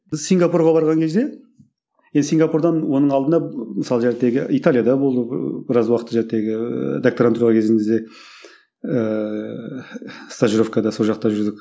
біз сингапурға барған кезде енді сингапурдан оның алдында мысалы италияда болдық біраз уақыт докторантура кезімізде ыыы стажировкада сол жақта жүрдік